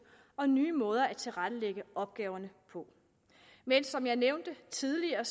og nye måder at tilrettelægge opgaverne på men som jeg nævnte tidligere